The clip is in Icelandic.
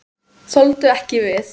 Þoldu ekki við.